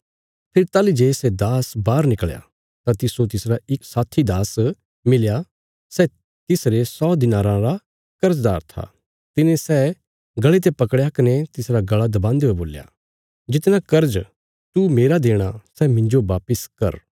फेरी ताहली जे सै दास बाहर निकल़या तां तिस्सो तिसरा इक साथी दास मिलया सै तिसरे सौ दिनाराँ रा कर्जदार था तिने सै गल़े ते पकड़या कने तिसरा गल़ा दबान्दे हुये बोल्या जितना कर्ज तू मेरा देणा सै मिन्जो वापस कर